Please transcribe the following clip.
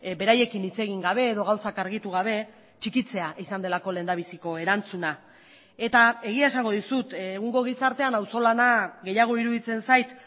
beraiekin hitz egin gabe edo gauzak argitu gabe txikitzea izan delako lehendabiziko erantzuna eta egia esango dizut egungo gizartean auzolana gehiago iruditzen zait